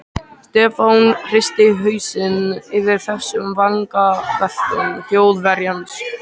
Stefán hristi hausinn yfir þessum vangaveltum Þjóðverjans.